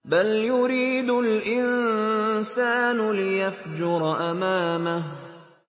بَلْ يُرِيدُ الْإِنسَانُ لِيَفْجُرَ أَمَامَهُ